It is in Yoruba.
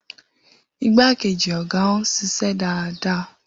Igbákejì ọ̀gá ń ṣiṣẹ́ dáadáa.